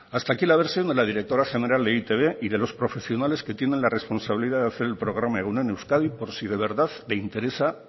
hasta aquí la versión de la directora general de e i te be y de los profesionales que tienen la responsabilidad de hacer el programa egun on euskadi por si de verdad le interesa